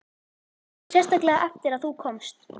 Og sérstaklega eftir að þú komst.